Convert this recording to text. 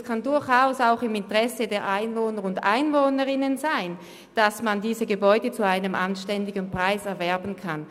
Es kann durchaus auch im Interesse der Einwohnerinnen und Einwohner liegen, dass man diese Gebäude zu einem anständigen Preis erwerben kann.